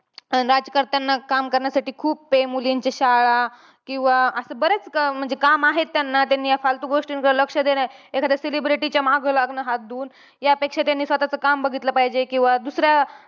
राजकर्त्यांनी काम करण्यासाठी खूप आहे. मुलींची शाळा किंवा अं असं बरेच काम आहेत त्यांना. त्यांनी या फालतू गोष्टींकडे लक्ष देऊ नये. एखाद्या celebrity च्या मागं लागणं हात धुवून. यापेक्षा त्यांनी स्वतःचं काम बघितलं पाहिजे. किंवा दुसऱ्या